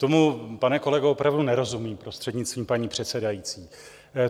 Tomu, pane kolego, opravdu nerozumím, prostřednictvím paní předsedající.